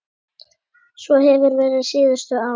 Svo hefur verið síðustu ár.